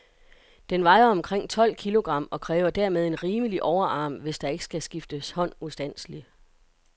Den vejer omkring tolv kilogram, og kræver dermed en rimelig overarm, hvis der ikke skal skifte hånd ustandseligt.